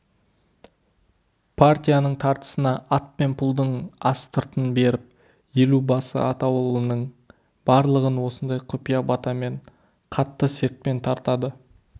партияның тартысына ат пен пұлды астыртын беріп елубасы атаулының барлығын осындай құпия батамен қатты сертпен тартады